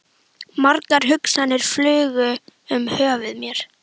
Margar hugsanir flugu um höfuð mér.